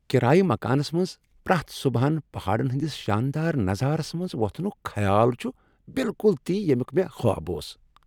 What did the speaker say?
کرایہ مکانس منٛز پرٛیتھ صبحن پہاڑن ہنٛدس شاندار نظارس منٛز وۄتھنُک خیال چھ بالکل تی ییمیُک مےٚ خواب اوس۔